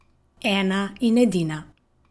Ena in edina.